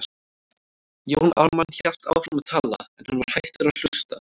Jón Ármann hélt áfram að tala, en hann var hættur að hlusta.